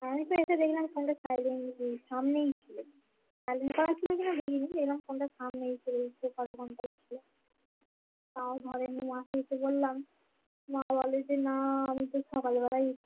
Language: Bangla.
আমি তো এসে দেখলাম ফোন তা silent সামনেই ছিল silent করা ছিল কিনা দেখিনি কিন্তু ফোন টা সামনেই পরে ছিল তাও ধরেনি মাকে উঠে বললাম মা বলে যে না আমি তো সকাল বেলাই